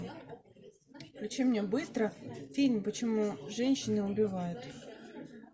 включи мне быстро фильм почему женщины убивают